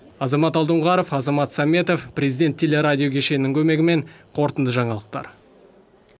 азамат алдоңғаров азамат сәметов президент телерадио кешенінің көмегімен қорытынды жаңалықтар